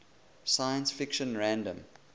science fiction fandom